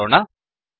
ಎಂದು ನೋಡೋಣ